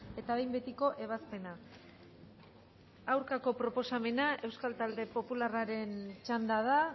eta behin betiko ebazpena aurkako proposamena euskal talde popularraren txanda da